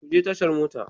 Ku je tashar mota.